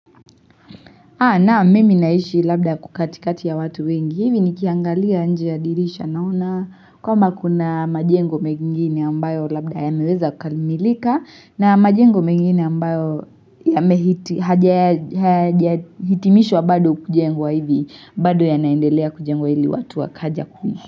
Naam mimi naishi labda huku katikati ya watu wengi, hivi nikiangalia nje ya dirisha naona kama kuna majengo mengine ambayo labda yameweza kukamilika na majengo mengine ambayo hayajahitimishwa bado kujengwa hivi bado yanaendelea kujengwa ili watu wakaja kuishi.